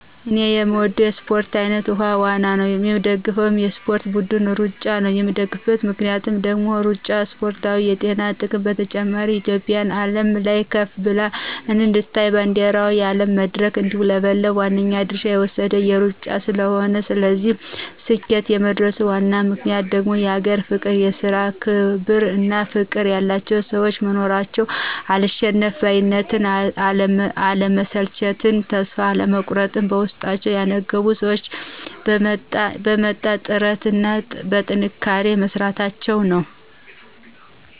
እኔ የምወደው የእስፖርት አይነት ዉሀ ዋና ነው። የምደግፈው የእስፖርት ብድን እሩጫን ነው የምደግፍበት ምክንያት ደግሞ እሩጫ እስፖርታዊ የጤና ጥቅሞች በተጨማሪ እትዮጵያ በአለም ላይ ከፍ ብላ እንድትታይ ባንዲረዋ በአለም መድረክ እንዲውለበለብ ዋናውን ድርሻ የወሰደው እሩጫ ስለሆነ ነው። ለዚህ ስኬት የመድረሱ ዋነኛ ምክንያት ደግሞ የሀገር ፍቅር፣ የስራ ክብር እና ፍቅር ያላቸው ሰዎች መኖራቸው፣ አልሸነፍ ባይነትን፣ አለመሰልቸትን ተስፋ አለመቁረጥን በውስጣቸው ያነገቡ ሰዎች በመጣ ጥረት እና በጥንካሬ መስራታቸው ነው።